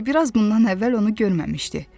Bimbi biraz bundan əvvəl onu görməmişdi.